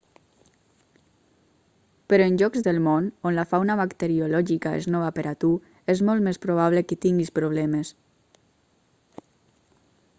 però en llocs del món on la fauna bacteriològica és nova per a tu és molt més probable que tinguis problemes